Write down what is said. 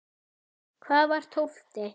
Hvað var tólfti?